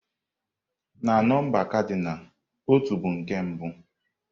Na nọmba kadinal, "ọtú" bụ nke mbụ.